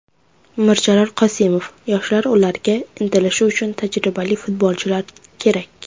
Mirjalol Qosimov: Yoshlar ularga intilishi uchun tajribali futbolchilar kerak .